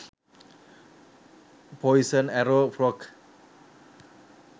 poison arrow frog